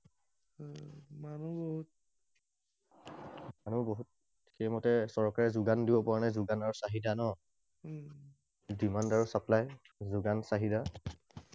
আৰু বহুত সেইমতে চৰকাৰে যোগানো দিব পৰা নাই, যোগান আৰু চাহিদা ন? Demand আৰু supply, যোগান চাহিদা।